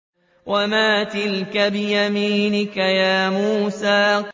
وَمَا تِلْكَ بِيَمِينِكَ يَا مُوسَىٰ